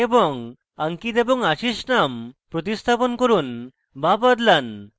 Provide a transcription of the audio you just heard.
এবং ankit এবং ashish name প্রতিস্থাপন করুন বা বদলান